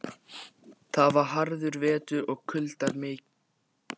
Þetta var harður vetur og kuldar miklir.